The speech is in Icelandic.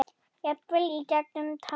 Jafnvel í gegnum tárin.